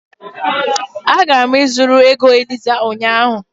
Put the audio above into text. Agara m ịzụrụ ego Eliza ụnyahụ